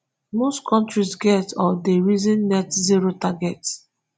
most kontri get or dey reason net zero targets